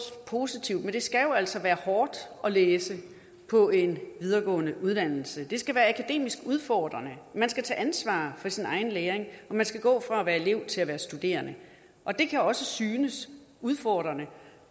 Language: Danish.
positivt men det skal jo altså være hårdt at læse på en videregående uddannelse det skal være akademisk udfordrende man skal tage ansvar for sin egen læring og man skal gå fra at være elev til at være studerende og det kan også synes udfordrende